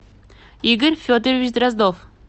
игорь федорович дроздов